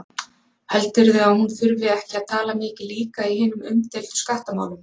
Heldurðu að hún þurfi ekki að tala mikið líka í hinum umdeildu skattamálum?